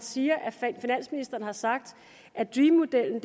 siger at finansministeren har sagt at dream modellen